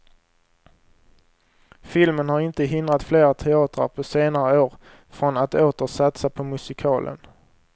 Filmen har inte hindrat flera teatrar på senare år från att åter satsa på musikalen.